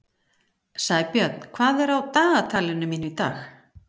Sæbjörn, hvað er á dagatalinu mínu í dag?